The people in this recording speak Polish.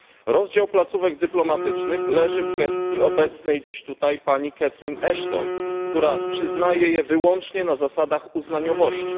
Rozdział placówek dyplomatycznych leży w gestii obecnej dziś tutaj pani Catherine Ashton, która przyznaje je wyłącznie na zasadach uznaniowości.